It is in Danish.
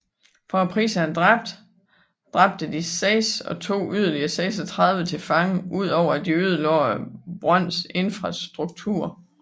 For prisen af en dræbt dræbte de seks og tog yderligere 36 til fange udover at de ødelagde brøndens infrastruktur